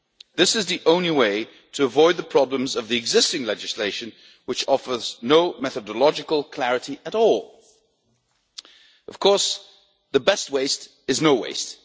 This is the only way to avoid the problems of the existing legislation, which offers no methodological clarity at all. Of course, the best waste is no